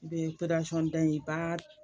I bɛ da in ba